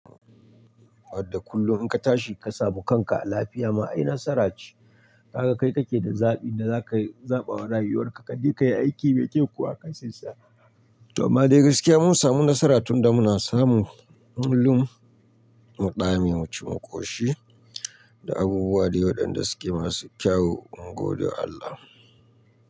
Wadda kullum in ka tashi ka samu kanka a lafiya ma ai nasara ce. Kaga kai kake da zaɓin da za ka zaɓa wa rayuwarka, ka je ka yi aiki, mai kyau kuwa kai sai sa'a. To amma dai gaskiya mun samu nasara tunda muna samun mulmun, muɗame, muci mu koshi da abubuwa dai wa ɗan da suke masu kyau mun gode Allah.